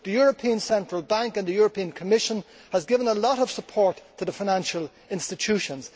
The European Central Bank and the European Commission have given a lot of support to the financial institutions.